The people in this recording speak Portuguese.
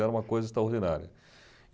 Era uma coisa extraordinária.